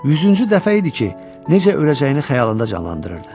Yüzüncü dəfə idi ki, necə öləcəyini xəyalında canlandırırdı.